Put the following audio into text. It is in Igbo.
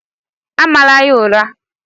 Amala ya ụra!